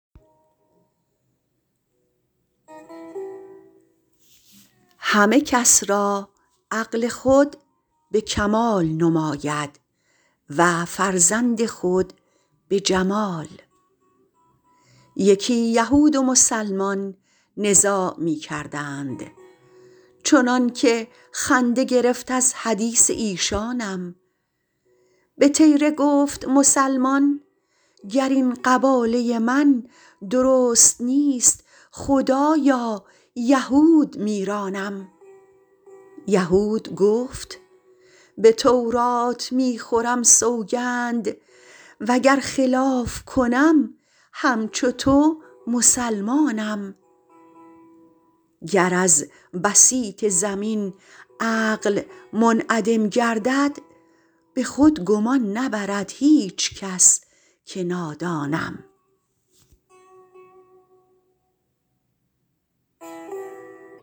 همه کس را عقل خود به کمال نماید و فرزند خود به جمال یکی یهود و مسلمان نزاع می کردند چنان که خنده گرفت از حدیث ایشانم به طیره گفت مسلمان گر این قباله من درست نیست خدایا یهود میرانم یهود گفت به تورات می خورم سوگند وگر خلاف کنم همچو تو مسلمانم گر از بسیط زمین عقل منعدم گردد به خود گمان نبرد هیچ کس که نادانم